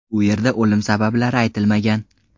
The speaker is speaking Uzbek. U yerda o‘lim sabablari aytilmagan.